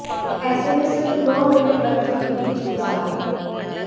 ऐसे में सिर्फ नौ मिनट बच्चों के बीच गुजारें